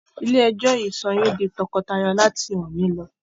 Ilé ẹjọ́ yìí sọ yín di tọkọtaya láti òní lọ!